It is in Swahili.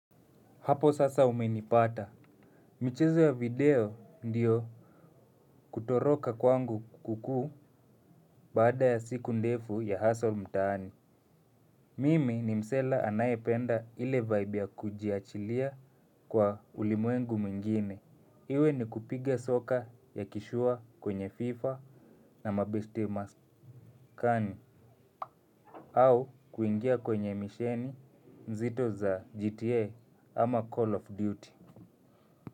Hapo sasa umenipata michezo ya video ndiyo kutoroka kwangu huku baada ya siku ndefu ya hustle mtaani mimi ni msela anayependa ile vibe ya kujiachilia kwa ulimwengu mwingine iwe ni kupiga soka ya kishua kwenye fifa na mabeshe maskani au kuingia kwenye misheni mzito za gta ama call of duty. Kwa hivyo, kwa hivyo, kwa hivyo, kwa hivyo, kwa hivyo.